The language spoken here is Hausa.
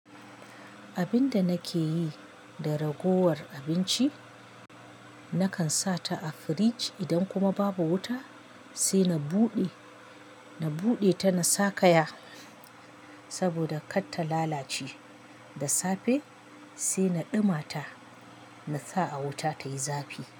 Abinda nake yi da ragowar abinci, nakan sa ta a firij idan kuma babu wuta, sai na buɗe, na buɗe ta na sakaya saboda kar ta lalace. Da safe sai na ɗumata na sa a wuta tayi zafi.